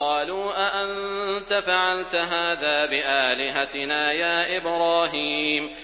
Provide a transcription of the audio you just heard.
قَالُوا أَأَنتَ فَعَلْتَ هَٰذَا بِآلِهَتِنَا يَا إِبْرَاهِيمُ